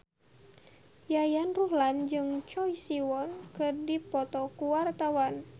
Yayan Ruhlan jeung Choi Siwon keur dipoto ku wartawan